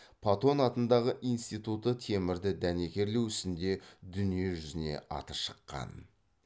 патон атындағы институты темірді дәнекерлеу ісінде дүниежүзіне аты шыққан